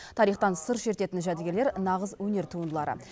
тарихтан сыр шертетін жәдігерлер нағыз өнер туындылары